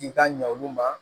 K'i ka ɲɛ olu ma